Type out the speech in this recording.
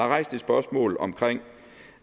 rejst et spørgsmål om